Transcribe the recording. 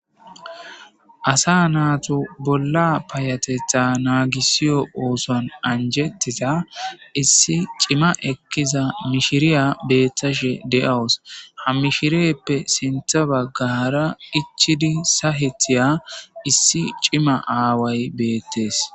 Asaa natu bolla payateththa nagisiyo oththuwanni anjetiza issi cimma ekkiza mishshiriya betashshe de'awus .haa mishshirippe sinththa bagara ichchiddi sa'etiya issi cimma awayi betees.